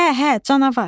Hə, hə, canavar.